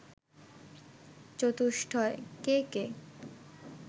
চতুষ্টয় কে কে